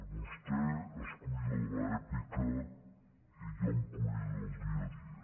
vostè es cuida de l’èpica i jo em cuido del dia a dia